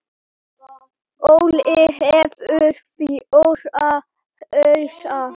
Óli hefur fjóra hausa.